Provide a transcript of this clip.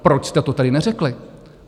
Proč jste to tedy neřekli?